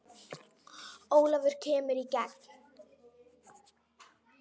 Ólafur kemur í gegn.